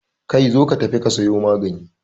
Kai, zo ka tafi ka sayo magani